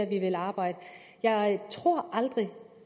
vi vil arbejde jeg tror aldrig